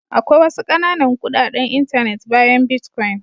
Akwai wasu ƙananan kuɗaɗen intanet bayan bitcoin.